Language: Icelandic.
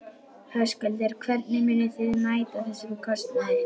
Höskuldur: Hvernig munið þið mæta þessum kostnaði?